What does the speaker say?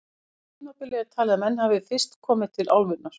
Á því tímabili er talið að menn hafi fyrst komið til álfunnar.